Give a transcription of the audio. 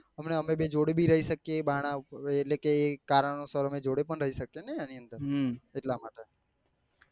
હમણાં અમે બે જોડે બી રહી શકીએ બાણા એટલે કે કારણો સર અમે જોડે બી રહી શકીએ ને એની અંદર હમ એટલા માટે